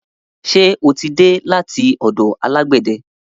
Ṣe o tí dé láti ọ̀dọ̀ alágbẹ̀de?